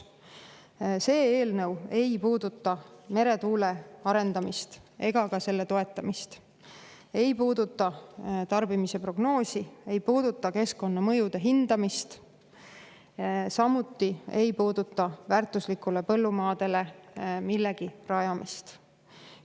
See eelnõu ei puuduta meretuuleparkide arendamist ega ka selle toetamist, see ei puuduta tarbimise prognoosi, ei puuduta keskkonnamõjude hindamist, samuti ei puuduta väärtuslikele põllumaadele millegi rajamist.